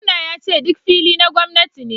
Gwamnan yace duk fili na gwamnati ne